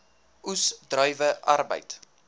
oes druiwe arbeid